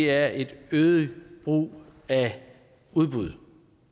er et øget brug af udbud